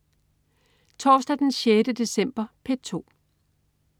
Torsdag den 6. december - P2: